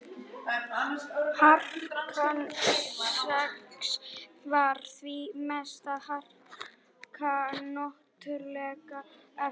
harkan sex var því mesta harka náttúrulegra efna